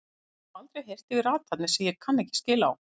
Orð sem ég hef aldrei heyrt yfir athafnir sem ég kann ekki skil á.